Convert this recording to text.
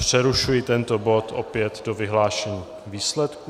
Přerušuji tento bod opět do vyhlášení výsledků.